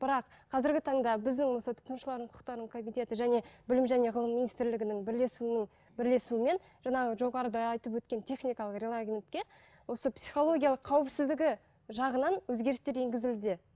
бірақ қазіргі таңда біздің осы тұтынушылардың құқықтары комитеті және білім және ғылым министрлігінің бірлесуінің бірлесуімен жаңағы жоғарыда айтып өткен техникалық осы психологиялық қауіпсіздігі жағынан өзгерістер енгізілді